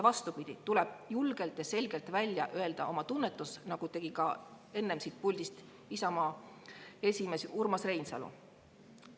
Vastupidi, tuleb julgelt ja selgelt välja öelda oma tunnetus, nagu tegi ka enne siit puldist Isamaa esimees Urmas Reinsalu.